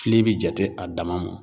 Fili bɛ jate a dama mɔ.